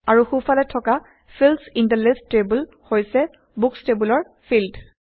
আৰু সোঁফলে থকা fields in the list table হৈছে বুকচ টেইবলৰ ফিল্ড